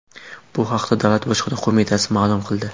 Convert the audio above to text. Bu haqda Davlat bojxona qo‘mitasi ma’lum qildi.